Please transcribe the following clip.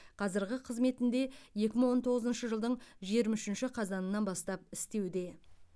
қазірғы қызметінде екі мың он тоғызыншы жылдың жиырма үшінші қазанынан бастап істеуде